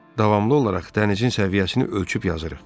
"Davamlı olaraq dənizin səviyyəsini ölçüb yazırıq."